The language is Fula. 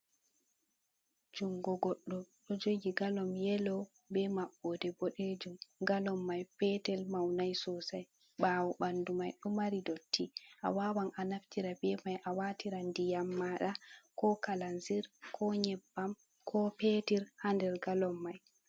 Jungo goɗɗo ɗo jogi galom yelo be maɓɓode boɗejum, galon mai petel maunai sosai, ɓawo ɓanɗu mai ɗo mari dotti a wawan a naftira be mai a watira ndiyam maɗa, ko kalanzir, ko nyebbam, ko petir ha nder galom mai.